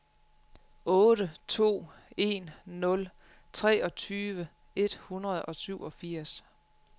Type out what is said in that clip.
otte to en nul treogtyve et hundrede og syvogfirs